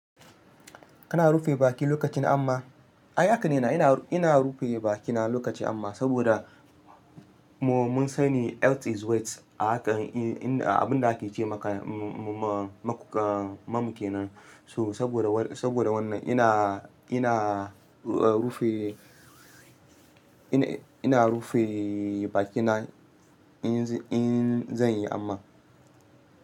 Kana rufe baki lokacin amma? Ai haka ne, ina rufe bakina lokaci amma saboda mun sani health is welth, abin da ake ce maka mamu kenan. So saboda wannan ina rufe bakina in zan yi amma.